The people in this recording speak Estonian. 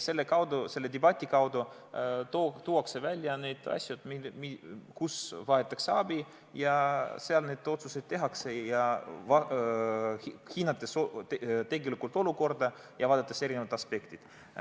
Selle debati kaudu tuuakse välja need asjad, kus vajatakse abi, ja seal need otsused tehakse, hinnates tegelikku olukorda ja vaadates eri aspekte.